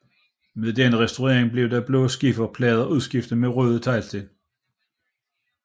Ved denne restaurering blev de blå skifer plader udskiftet med røde teglsten